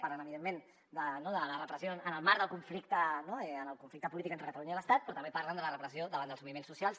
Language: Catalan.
parlen evidentment de la repressió en el marc del conflicte polític entre catalunya i l’estat però també parlen de la repressió davant dels moviments socials